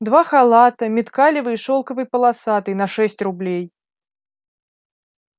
два халата миткалёвый и шелковый полосатый на шесть рублей